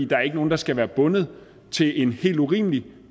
der er ikke nogen der skal være bundet til en helt urimelig